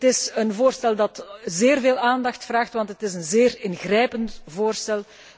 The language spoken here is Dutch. Het is een voorstel dat zeer veel aandacht vraagt, want het is een zeer ingrijpend voorstel.